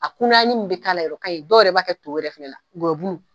A kunnayani min bi k'a la yɛrɛ o kaɲi dɔw yɛrɛ b'a kɛ to yɛrɛ fɛnɛ na gɔyɔbulu.